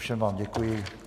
Všem vám děkuji.